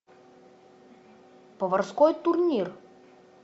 поварской турнир